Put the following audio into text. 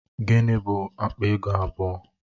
Gịnị bụ akpa ego abụọ?